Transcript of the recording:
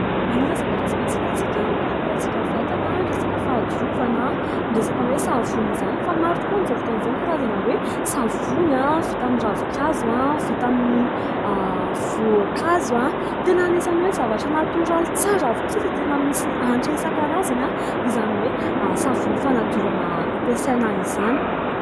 anisan'ny zavatra tsy maintsy ilaintsika hikarakarantsika vatana ny resaka fahadiovana ,ny resaka hoe savony izany, fa maro tokoa amin'izao fotoana izao ny karazana hoe savony vita amin'ny ravinkazo, vita amin'ny voankazo , tena anisany hoe zavatra natoraly tsara avokoa satria dia tena misy hanitra isankarazany izany hoe savony fanadiovana ampiasaina izany